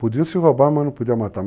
Podia se roubar, mas não podia matar.